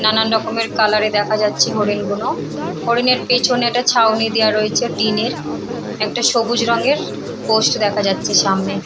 নানান রকমের কালার -এ দেখা যাচ্ছে হরিণগুনো। হরিনের পেছনে একটা ছাউনি দেয়া রয়েছে টিনের একটা সবুজ রঙের পোস্ট দেখা যাচ্ছে সামনে ।